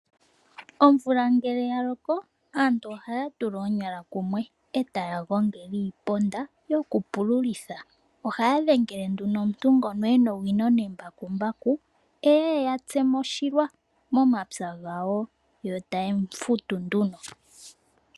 Omvula ngele ya loko aantu ohaya tula oonyala kumwe etaya gongele iiponda yoku pululitha. Ohaya dhengele nduno omuntu ngono ena owino nembakumbaku eye eyatse mo oshilwa momapya gawo yo taye mu futu nduno.